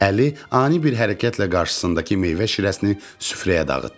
Əli ani bir hərəkətlə qarşısındakı meyvə şirəsini süfrəyə dağıtdı.